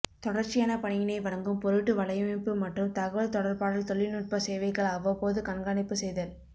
தொடர்ச்சியான பணியினை வழங்கும் பொருட்டு வலையமைப்பு மற்றும் தகவல் தொடர்பாடல் தொழில்நுட்ப சேவைகளை அவ்வப்போது கண்காணிப்பு செய்தல்